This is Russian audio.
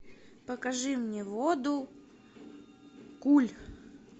покажи мне воду куль